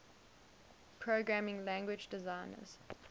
programming language designers